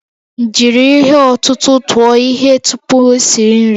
Jiri ihe ọ̀tụ̀tụ̀ tụọ ihe tupu esi nri